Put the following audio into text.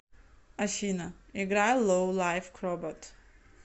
афина играй лоу лайф кробот